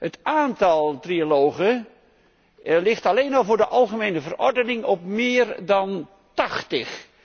Het aantal trialogen ligt alleen al voor de algemene verordening op meer dan tachtig.